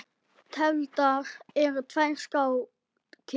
Tefldar eru tvær skákir.